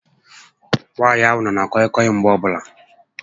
Nwaànyị ahụ nọ na kọị kọị Mgbe ọbụla